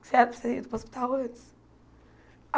Você era para ter ido para o hospital antes?